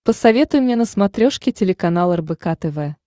посоветуй мне на смотрешке телеканал рбк тв